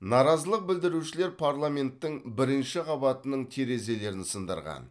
наразылық білдірушілер парламенттің бірінші қабатының терезелерін сындырған